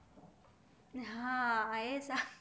હા એ તા